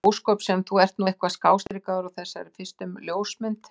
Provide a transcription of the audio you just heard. Og mikið ósköp sem þú ert nú eitthvað skástrikaður á þessari fyrstu ljósmynd.